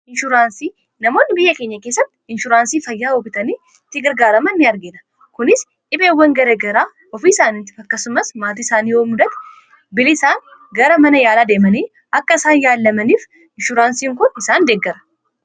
inshuraansii namoonni biyya kenya keessatti inshuraansii fayyaa hobitanii tigargaaraman ini argiida kunis dhibeewwan garagaraa ofii isaaniitti fakkasumas maatii isaanii yoomudati bili isaan gara mana yaalaa deemanii akka isaan yaallamaniif inshuraansiin kon isaan deeggara